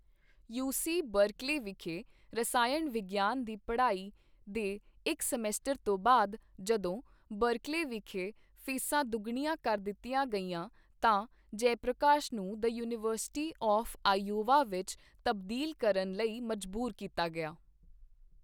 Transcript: UC Berkeley ਵਿਖੇ ਰਸਾਇਣ ਵਿਗਿਆਨ ਦੀ ਪੜ੍ਹਾਈ ਦੇ ਇੱਕ ਸਮੈਸਟਰ ਤੋਂ ਬਾਅਦ, ਜਦੋਂ ਬਰਕਲੇ ਵਿਖੇ ਫੀਸਾਂ ਦੁੱਗਣੀਆਂ ਕਰ ਦਿੱਤੀ ਗਈਆ ਤਾਂ ਜੈਪ੍ਰਕਾਸ਼ ਨੂੰ ਦਾ ਯੂਨੀਵਰਸਿਟੀ ਆਫ਼ ਆਇਓਵਾ ਵਿੱਚ ਤਬਦੀਲ ਕਰਨ ਲਈ ਮਜਬੂਰ ਕੀਤਾ ਗਿਆ।